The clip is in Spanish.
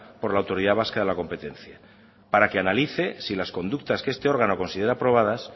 por la autoridad vasca de la competencia para que analice si las conductas que este órgano considera probadas